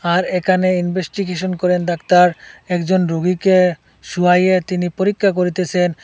আর এখানে ইনভেস্টিগেশন করেন ডাক্তার একজন রুগীকে শোয়াইয়ে তিনি পরীক্ষা করিতেসেন।